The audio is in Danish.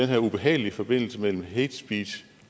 her ubehagelige forbindelse mellem hate speech